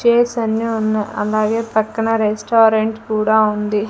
Chairs అన్నీ ఉన్నా అలాగే పక్కన రెస్టారెంట్ కూడా ఉంది.